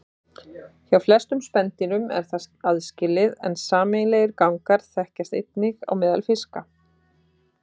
Hjá flestum spendýrum er þetta aðskilið en sameiginlegir gangar þekkjast einnig á meðal fiska.